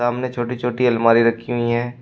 सामने छोटी छोटी अलमारी रखी हुई हैं।